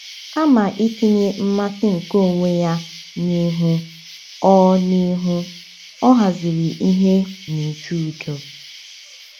Kama itinye mmasị nke onwe ya n’ihu, ọ n’ihu, ọ haziri ihe n’uju udo.